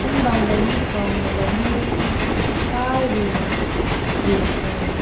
ting bang hai ne thao na bam men kai rew na zin mai.